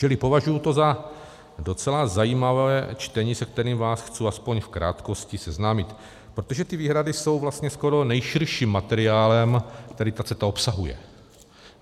Čili považuji to za docela zajímavé čtení, se kterým vás chci aspoň v krátkosti seznámit, protože ty výhrady jsou vlastně skoro nejširším materiálem, který ta CETA obsahuje.